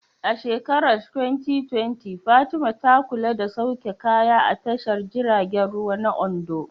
A shekarar 2020, Fatima ta kula da sauke kaya a tashar jiragen ruwa na Ondo.